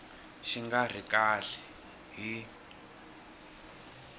xi nga ri kahle hi